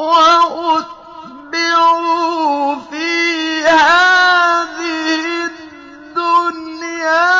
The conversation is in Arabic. وَأُتْبِعُوا فِي هَٰذِهِ الدُّنْيَا